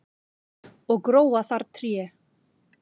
og gróa þar tré